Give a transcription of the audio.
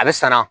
A bɛ san na